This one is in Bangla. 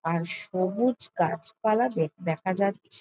আর সবুজ গাছ পালা দেখ দেখা যাচ্ছে।